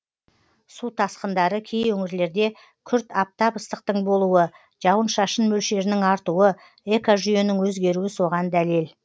су тасқындары кей өңірлерде күрт аптап ыстықтың болуы жауын шашын мөлшерінің артуы экожүйенің өзгеруі соған дәлел